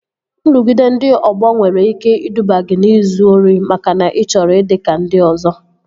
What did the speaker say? Nrụgide ndị ọgbọ nwere ike iduba gị n'izu ori makana ị chọrọ ịdị ka ndị ọzọ